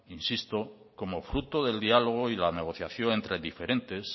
insisto como fruto del diálogo y la negociación entre diferentes